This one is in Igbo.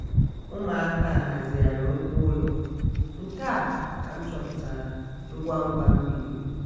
umuaka a hazigharịrị ngwa ụlọ nke a ka m chọpụtara ngwa ngwa m biliri